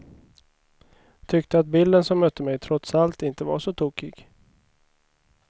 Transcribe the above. Tyckte att bilden som mötte mig trots allt inte var så tokig.